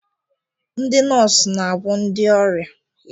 Ndị nọọsụ na-agwọ ndị ọrịa